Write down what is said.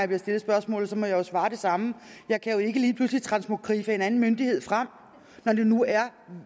bliver stillet spørgsmålet så må jeg jo svare det samme jeg kan jo ikke lige pludselig transmogriffe en anden myndighed frem når det nu er